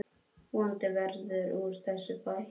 Vonandi verður úr þessu bætt.